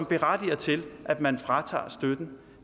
berettiger til at man fratager støtten